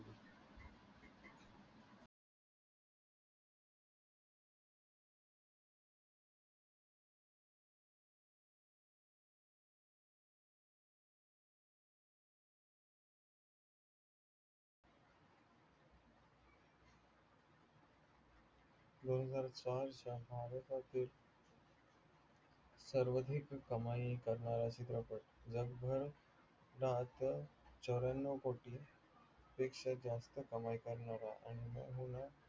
दोन हजार चारच्य भारतातील सर्वाधिक कमाई करनारा चित्रपट ज चवर्यांनव कोटी पेक्षा जास्त कमई करणारा आणि में हु ना